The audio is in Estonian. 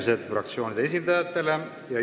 Sulgen fraktsioonide esindajate läbirääkimised.